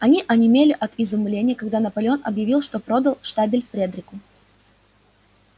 они онемели от изумления когда наполеон объявил что продал штабель фредерику